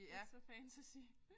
Ikke så fantasy